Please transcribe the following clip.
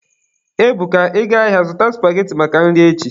Ebuka,Ị gaa ahịa, zụta supageti maka nri echi!